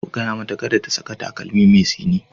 Ka gaya mata kada ta saka takalmi mai tsini.